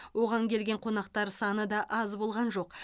оған келген қонақтар саны да аз болған жоқ